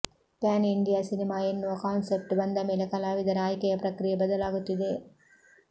PAN India cinema ಎನ್ನುವ concept ಬಂದ ಮೇಲೆ ಕಲಾವಿದರ ಆಯ್ಕೆಯ ಪ್ರಕ್ರಿಯೆ ಬದಲಾಗುತ್ತಿದೆ